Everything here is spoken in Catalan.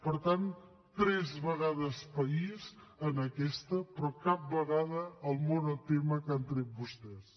per tant tres vegades país en aquesta però cap vegada el monotema que han tret vostès